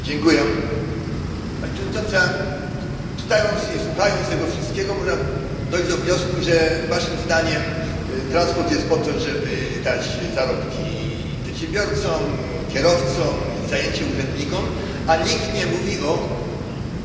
Pani Przewodnicząca! Czytając i słuchając tego wszystkiego, można dojść do wniosku, że waszym zdaniem transport jest po to, żeby dać zarobki przedsiębiorcom, kierowcom i zajęcie urzędnikom, a nikt nie mówi o odbiorcach towarów.